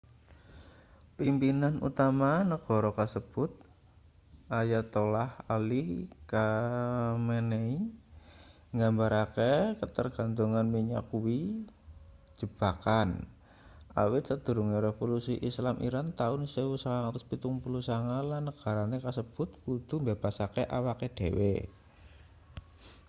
pimpinan utama negara kasebut ayatollah ali khamenei nggambarake katergantungan minyak kuwi jebakan awit sadurunge revolusi islam iran taun 1979 lan negara kasebut kudu mbebaske awake dhewe